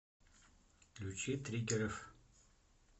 включи триггеров